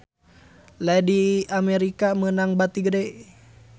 Lady America meunang bati gede